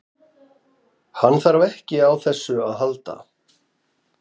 Hann þarf ekki á þessu að halda.